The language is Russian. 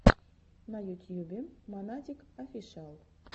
на ютьюбе монатик офишиал